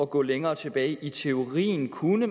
gå længere tilbage i teorien kunne